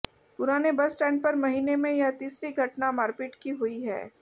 पुराने bus stand पर महीने में यह तीसरी घटना मारपीट की हुई है